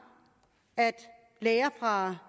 at læger fra